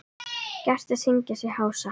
Gestir syngja sig hása.